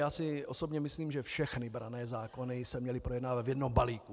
Já si osobně myslím, že všechny branné zákony se měly projednávat v jednom balíku.